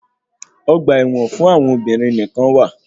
Ọgba ẹ̀wọn fún àwọn obìnrin nìkán wà.